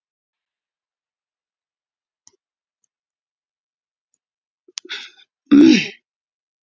Kittý, spilaðu lagið „Gaukur í klukku“.